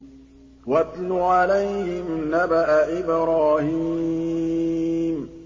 وَاتْلُ عَلَيْهِمْ نَبَأَ إِبْرَاهِيمَ